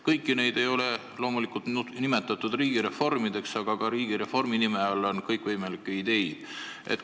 Kõiki neid ei ole loomulikult nimetatud riigireformiks, aga ka riigireformi nime all on kõikvõimalikke ideid olnud.